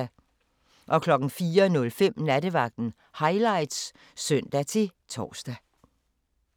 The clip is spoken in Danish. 04:05: Nattevagten Highlights (søn-tor)